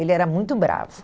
Ele era muito bravo.